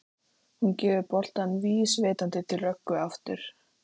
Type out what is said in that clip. Hún gefur boltann vísvitandi til Rögnu aftur.